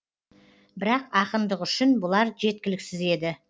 бірақ ақындық үшін бұлар жеткіліксіз еді